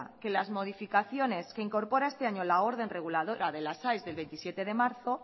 que las modificaciones que incorpora este año la orden reguladora de las aes del veintisiete de marzo